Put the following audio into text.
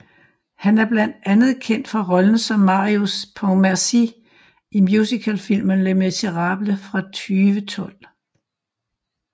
Han er blandt andet kendt for rollen som Marius Pontmercy i musicalfilmen Les Miserables fra 2012